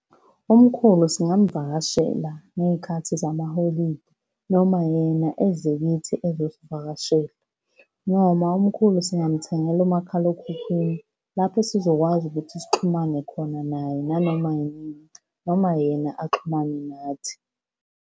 Umkhulu singamuvakashela ngey'khathi zamaholidi, noma yena eze kithi ezosivakashela, noma umkhulu singamuthengela umakhalekhukhwini, lapho esizokwazi ukuthi sixhumane khona naye, nanoma yini noma yena axhumane nathi.